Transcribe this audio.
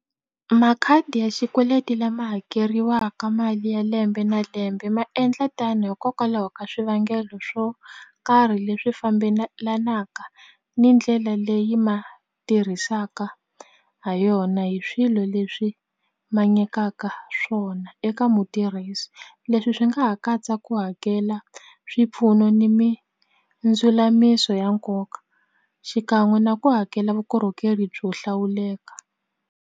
Makhadi ya xikweleti lama hakeriwaka mali ya lembe na lembe ma endla tano hikokwalaho ka swivangelo swo karhi leswi ni ndlela leyi ma tirhisaka ha yona hi swilo leswi ma nyikaka swona eka mutirhisi leswi swi nga ha katsa ku hakela swipfuno ni mindzulamiso ya nkoka xikan'we na ku hakela vukorhokeri byo hlawuleka.